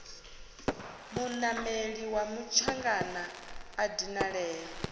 munameli wa mutshangana a dinalea